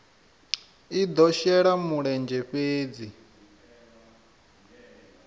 i do shela mulenzhe fhedzi